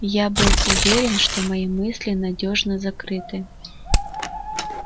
я был уверен что мои мысли надёжно закрыты